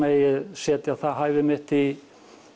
megi setja það hæfi mitt í